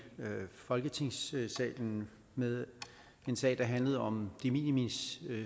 folketingssalen med en sag der handlede om de minimis